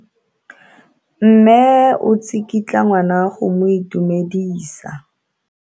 Mme o tsikitla ngwana go mo itumedisa.